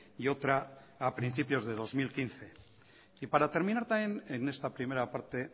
y otra a principios de dos mil quince y para terminar también en esta primera parte